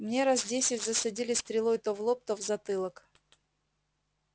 мне раз десять засадили стрелой то в лоб то в затылок